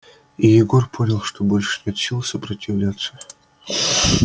и егор понял что больше нет сил сопротивляться